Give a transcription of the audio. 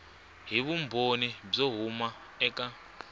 hi vumbhoni byo huma eka